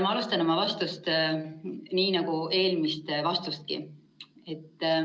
" Ma alustan oma vastust nii, nagu eelmist vastustki.